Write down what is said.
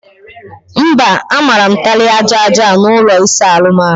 Mba, a mara m taịlị aja aja n'ụlọ ịsa ahụ m